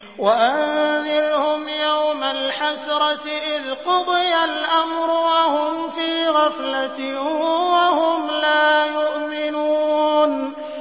وَأَنذِرْهُمْ يَوْمَ الْحَسْرَةِ إِذْ قُضِيَ الْأَمْرُ وَهُمْ فِي غَفْلَةٍ وَهُمْ لَا يُؤْمِنُونَ